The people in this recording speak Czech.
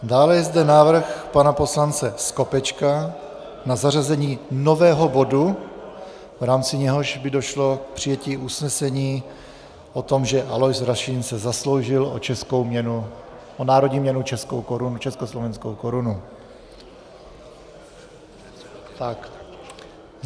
Dále je zde návrh pana poslance Skopečka na zařazení nového bodu, v rámci něhož by došlo k přijetí usnesení o tom, že Alois Rašín se zasloužil o českou měnu, o národní měnu československou korunu.